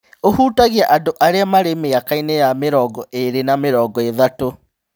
ũhutagia andũ arĩa marĩ mĩaka-inĩ ya mĩrongo ĩrĩ na mĩrongo ĩthatũ.